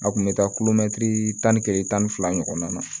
A kun bɛ taa tan ni kelen tan ni fila ɲɔgɔnna